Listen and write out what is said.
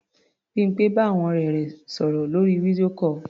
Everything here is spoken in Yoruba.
Bímpé bá àwọn ọ̀rẹ́ rẹ̀ sọ̀rọ̀ lórí video call.